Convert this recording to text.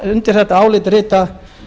undir þetta álit rita